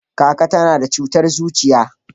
kaka ta na da cutar zuciya